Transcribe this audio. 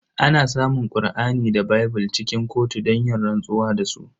Ana samun Kur'ani da bible cikin kotu don yin rantsuwa da su.